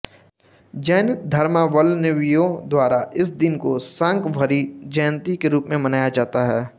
जैन धर्मावलंवियों द्वारा इस दिन को शाकंभरी जयंती के रूप में मनाया जाता है